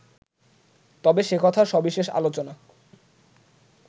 তবে সে কথার সবিশেষ আলোচনা